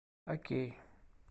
окей